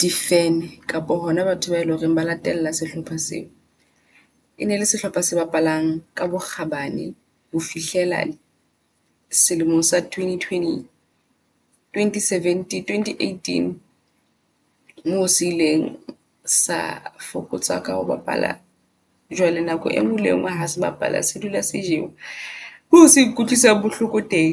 di fan. Kapa hona batho bae loreng ba latella sehlopha seo. E ne le sehlopha se bapalang ka bokgabane ho fihlela selemong sa Twenty twenty twenty seventeen Twenty eighteen moo se ileng sa fokotseha ka ho bapala. Jwale nako e nngwe le enngwe ha se bapala, se dula sejowa ke se nkutlwisang bohloko teng.